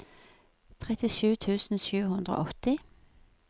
trettisju tusen sju hundre og åtti